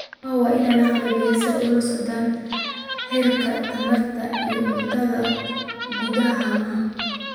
Haamaha waa in la qalabeeyaa si ay ula socdaan heerka tamarta iyo cuntada gudaha haamaha.